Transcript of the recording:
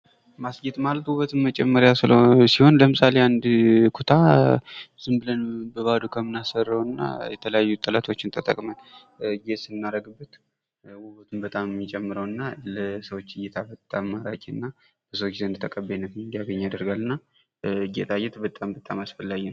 ማስጌጥ ማለት ውበትን መጨመሪያ ሲሆን ለምሳሌ አንድ ኩታ ዝንብለን በባዶ ከምናሰራው እና የተለያዩ ጥለቶችን ተጠቅመን ጌጥ ስናደርግበት ውበቱን በጣም ነው ሚጨረው እና ለሰዎች እይታ በጣም ማራኪ እና ብዙ ጊዜ ተቀባይነትን እንዲያገኝ ይደረጋል እና ጌጣጌጥ በጣም በጣም አስፈላጊ ነው ።